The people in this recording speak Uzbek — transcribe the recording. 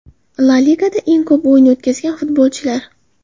La Ligada eng ko‘p o‘yin o‘tkazgan futbolchilar.